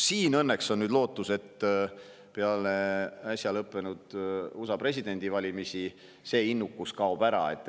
Õnneks on lootust, et peale äsja lõppenud USA presidendivalimisi see innukus kaob ära.